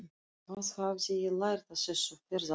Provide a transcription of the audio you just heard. Hvað hafði ég lært á þessu ferðalagi?